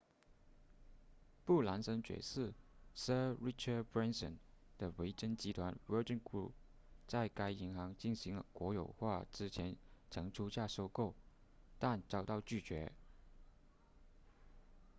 布兰森爵士 sir richard branson 的维珍集团 virgin group 在该银行进行国有化之前曾出价收购但遭到拒绝